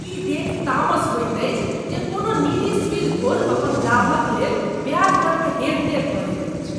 ई देखि तामस होइत अछि जे कोना निजी सुदिखोर अपन लाभक लेल ब्याज दरमे हेरफेर करैत छथि।